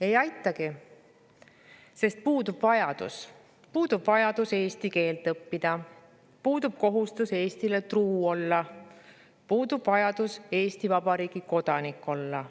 Ei aitagi, sest neil puudub vajadus eesti keelt õppida, puudub kohustus Eestile truu olla, puudub vajadus Eesti Vabariigi kodanik olla.